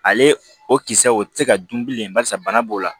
Ale o kisɛ o tɛ se ka dun bilen barisa bana b'o la